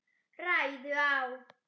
ræðu á